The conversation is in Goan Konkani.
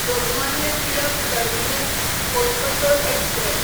Lokmanya Tilak terminus Coimbatore express